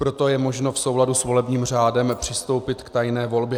Proto je možno v souladu s volebním řádem přistoupit k tajné volbě.